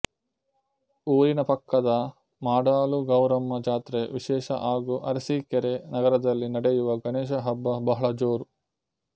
ಊರಿನ ಪಕ್ಕದ ಮಾಡಾಳು ಗೌರಮ್ಮ ಜಾತ್ರೆ ವಿಶೇಷ ಹಾಗೂ ಅರಸೀಕೆರೆ ನಗರದಲ್ಲಿ ನಡೆಯುವ ಗಣೇಶ ಹಬ್ಬ ಬಹಳ ಜೋರು